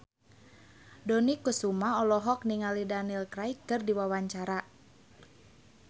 Dony Kesuma olohok ningali Daniel Craig keur diwawancara